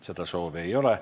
Seda soovi ei ole.